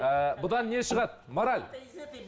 ііі бұдан не шығады мораль